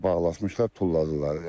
Hə, bağlatmışdılar, tulladılar.